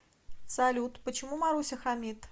салют почему маруся хамит